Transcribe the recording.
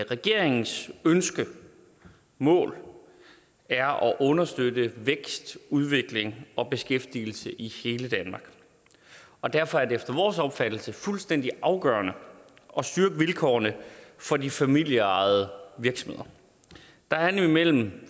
regeringens ønske mål er at understøtte vækstudvikling og beskæftigelse i hele danmark og derfor er det efter vores opfattelse fuldstændig afgørende at styrke vilkårene for de familieejede virksomheder der er nemlig mellem